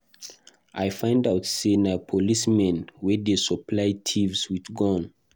I find out say na policemen wey dey supply thieves with gun.